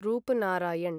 Rupnarayan